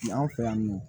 anw fɛ yan nɔ